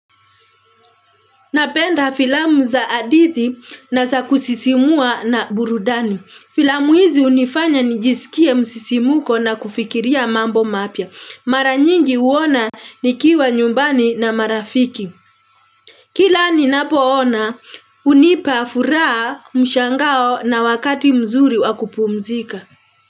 Napenda filamu za hadithi na za kusisimua na burudani. Filamu hizi hunifanya nijisikie msisimuko na kufikiria mambo mapya. Mara nyingi huona nikiwa nyumbani na marafiki. Kila ninapoona hunipa furaha mshangao na wakati mzuri wa kupumzika.